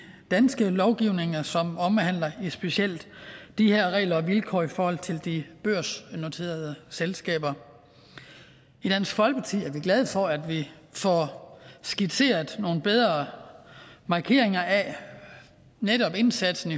danske lovgivning som omhandler specielt de her regler og vilkår i forhold til de børsnoterede selskaber i dansk folkeparti er vi glade for at vi får skitseret nogle bedre markeringer af netop indsatsen